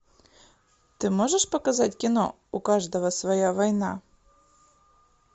ты можешь показать кино у каждого своя война